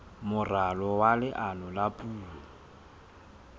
moralo wa leano la puo